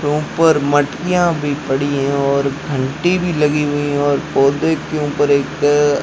ऊपर मटकिया भी पड़ी है और घंटी भी लगी हुई हैं और पौधे के ऊपर एक--